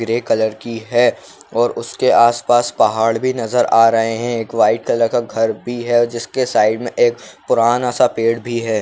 Grey colour की है और उसके आस पास पहाड़ भी नजर आ रहे हैं। एक वाइट कलर का घर भी है और जिसके साइड में एक पुराना सा पेड़ भी है।